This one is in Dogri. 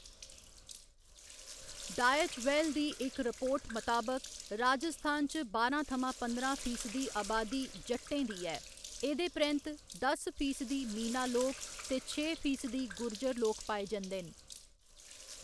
डायच वेल दी इक रिपोर्ट मताबक, राजस्थान च बारां थमां पंदरां फीसदी अबादी जट्टें दी ऐ, एह्‌‌‌दे परैंत्त दस फीसदी मीना लोक ते छे फीसदी गुर्जर लोक पाए जंदे न।